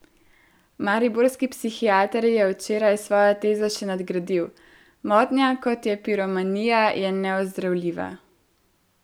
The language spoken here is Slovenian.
Mariborski psihiater je včeraj svojo tezo še nadgradil: "Motnja, kot je piromanija, je neozdravljiva.